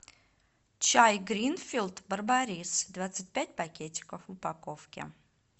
чай гринфилд барбарис двадцать пять пакетиков в упаковке